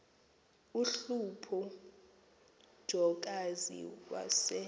uhlupho jokazi wase